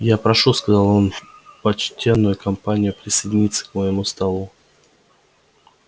я прошу сказал он почтенную компанию присоединиться к моему тосту